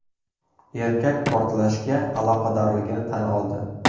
Erkak portlashga aloqadorligini tan oldi.